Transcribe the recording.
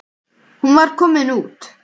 Hún var komin heim.